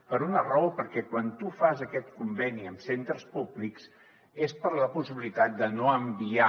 per una raó perquè quan tu fas aquest conveni amb centres públics és per la possibilitat de no enviar